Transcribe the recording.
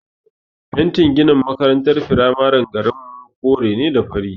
Fentin ginin makarantar firamaren garinmu kore da fari ne.